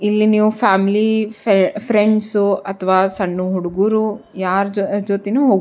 ಇಲ್ಲಿ ನೀವ್ ಫ್ಯಾಮಿಲಿ ಫ್ರೆ ಫ್ರೆಂಡ್ಸ್ ಅಥವಾ ಸಣ್ಣ ಹುಡುಗ್ರು ಯಾರ್ ಜೊ ಜೊತೆನು ಹೋಗ್ --